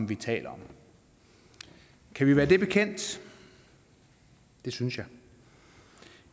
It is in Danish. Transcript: vi taler om kan vi være det bekendt det synes jeg